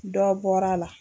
Dɔ bɔra a la.